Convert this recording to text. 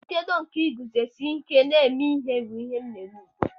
Nchedo nke iguzosi ike n'ezi ihe bụ ihe m na-eme ugbu a.